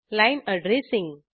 line addressing